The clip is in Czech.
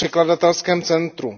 překladatelském centru.